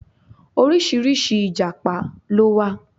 Oríṣiríṣi Ìjàpá ló wà.